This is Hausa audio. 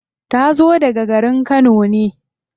Ta zo daga garin kano ne.